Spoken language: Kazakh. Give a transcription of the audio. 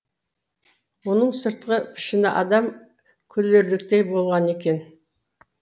оның сыртқы пішіні адам күлерліктей болған екен